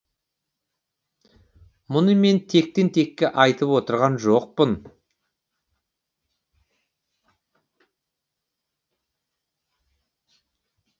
мұны мен тектен текке айтып отырған жоқпын